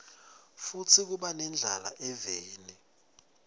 futsi kuba nendlala eveni